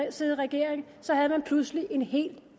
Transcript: at sidde i regering havde man pludselig en helt